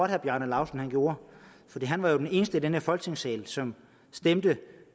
herre bjarne laustsen gjorde for han var jo den eneste i den her folketingssal som stemte